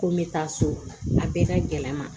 Ko n bɛ taa so a bɛɛ ka gɛlɛn n ma